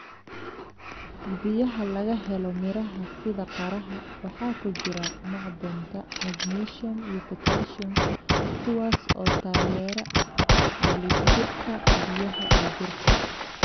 Biyaha laga helo miraha sida qaraha waxaa ku jira macdanta magnesium iyo potassium kuwaas oo taageera dheelitirka biyaha ee jirka.